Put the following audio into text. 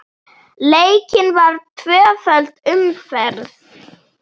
Leikin var tvöföld umferð.